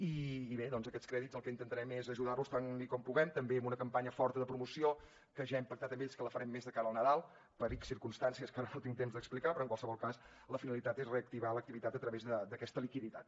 i bé doncs aquests crèdits el que intentarem és ajudar los tant com puguem també amb una campanya forta de promoció que ja hem pactat amb ells que la farem més de cara al nadal per ics circumstàncies que ara no tinc temps d’explicar però en qualsevol cas la finalitat és reactivar l’activitat a través d’aquesta liquiditat